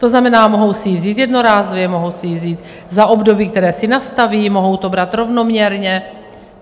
To znamená, mohou si ji vzít jednorázově, mohou si ji vzít za období, které si nastaví, mohou to brát rovnoměrně.